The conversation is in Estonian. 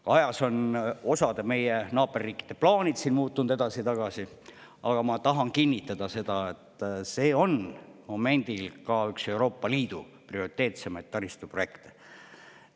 Aja jooksul on osa meie naaberriikide plaanid muutunud edasi-tagasi, aga ma tahan kinnitada, et see on momendil ka üks Euroopa Liidu prioriteetsemaid taristuprojekte.